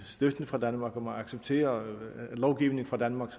støtten fra danmark og accepterer lovgivningen fra danmark